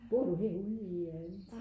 bor du herede u i?